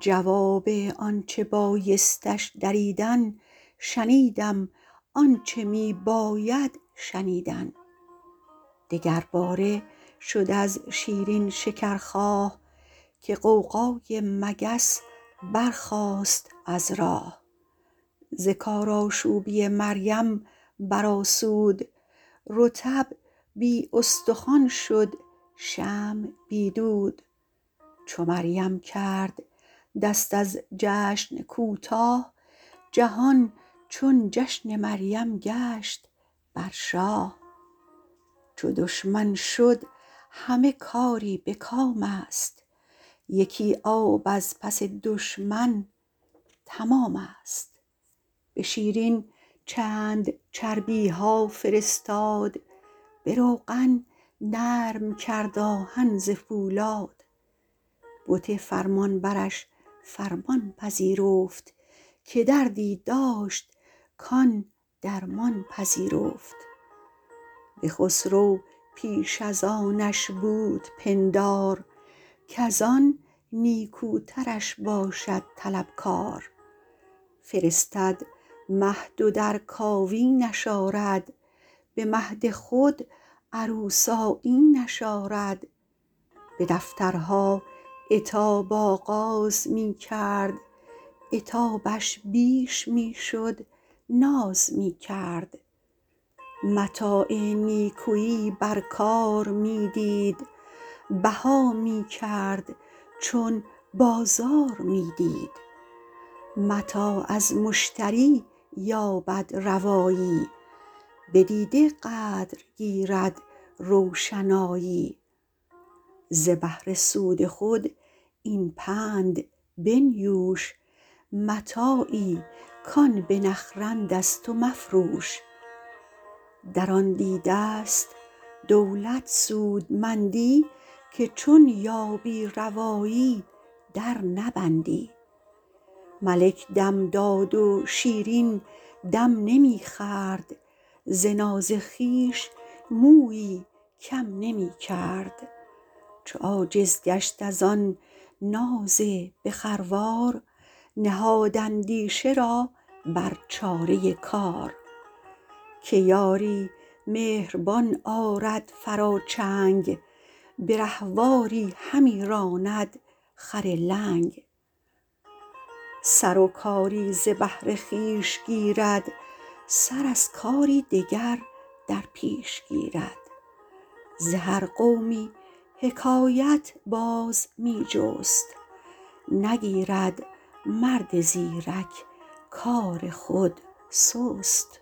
جواب آن چه بایستش دریدن شنیدم آن چه می باید شنیدن دگر باره شد از شیرین شکرخواه که غوغای مگس برخاست از راه ز کارآشوبی مریم برآسود رطب بی استخوان شد شمع بی دود چو مریم کرد دست از جشن کوتاه جهان چون جشن مریم گشت بر شاه چو دشمن شد همه کاری به کام است یکی آب از پس دشمن تمام است به شیرین چند چربی ها فرستاد به روغن نرم کرد آهن ز پولاد بت فرمان برش فرمان پذیرفت که دردی داشت کان درمان پذیرفت به خسرو پیش از آنش بود پندار کزان نیکوترش باشد طلب کار فرستد مهد و در کاوینش آرد به مهد خود عروس آیینش آرد به دفترها عتاب آغاز می کرد عتابش بیش می شد ناز می کرد متاع نیکویی بر کار می دید بها می کرد چون بازار می دید متاع از مشتری یابد روایی به دیده قدر گیرد روشنایی ز بهر سود خود این پند بنیوش متاعی کآن بنخرند از تو مفروش در آن دیده است دولت سودمندی که چون یابی روایی در نبندی ملک دم داد و شیرین دم نمی خورد ز ناز خویش مویی کم نمی کرد چو عاجز گشت از آن ناز به خروار نهاد اندیشه را بر چاره کار که یاری مهربان آرد فرا چنگ به رهواری همی راند خر لنگ سر و کاری ز بهر خویش گیرد سر از کاری دگر در پیش گیرد ز هر قومی حکایت باز می جست نگیرد مرد زیرک کار خود سست